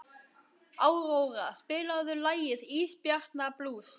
Áróra, spilaðu lagið „Ísbjarnarblús“.